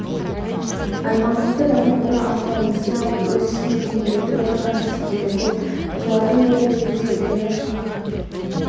аймағымызда даму қоры арқылы несие алып өз ісін дөңгелентіп отырған кәсіпкерлер көп солардың бірі ретінде зеленов